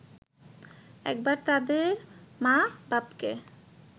একবার তাদের মা-বাপকে